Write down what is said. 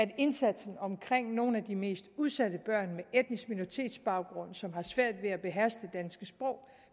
at indsatsen omkring nogle af de mest udsatte børn med etnisk minoritets baggrund som har svært ved at beherske danske sprog